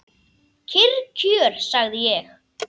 Kyrr kjör, sagði ég.